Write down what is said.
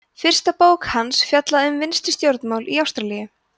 fyrsta bók hans fjallaði um vinstri stjórnmál í ástralíu